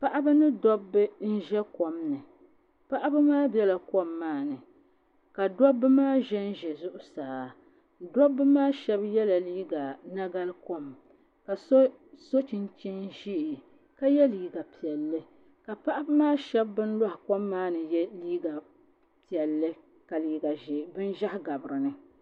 Paɣaba ni dabba n bɛ kom ni paɣaba maa biɛla kom maa ni ka dabba maa ʒɛnʒɛ zuɣusaa dabba maa shab yɛla liiga nagari kom ka so so chinchin ʒiɛ ka yɛ liiga piɛlli ka paɣaba maa so bin loɣi kom maa ni yɛ liiga piɛlli ka bin ʒiɛhi gabi dinni